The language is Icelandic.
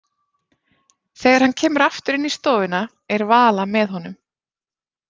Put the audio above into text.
Þegar hann kemur aftur inn í stofuna er Vala með honum.